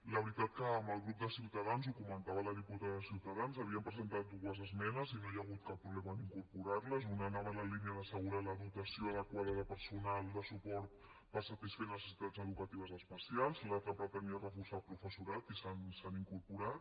la veritat que amb el grup de ciutadans ho comentava la diputada de ciutadans havien presentat dues esmenes i no hi ha hagut cap problema en incorporar les una anava en la línia d’assegurar la dotació adequada de personal de suport per satisfer necessitats educatives especials l’altra pretenia reforçar el professorat i s’han incorporat